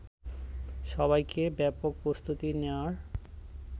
সবাইকে ব্যাপকপ্রস্তুতি নেয়ার